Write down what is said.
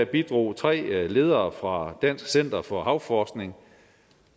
bidrog tre ledere fra dansk center for havforskning